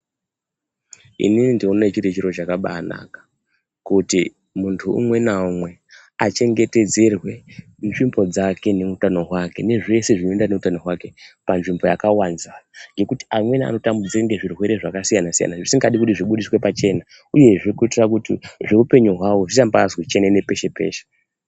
Ininindinoone chiri chiro chakabaanaka kuti muntu umwe naumwe achengetedzerwe nzvimbo dzake neutano hwake nezvese zvinoenderana neutano hwake panzvimbo yakavanza, ngekuti amweni anotambudzika ngezvirwere zvakasiyana siyana zvisingadiwi kuti zvibudiswe pachena uyezve kuitira kuti zveupenyu hwavo zvisambazi chenene peshe-peshe.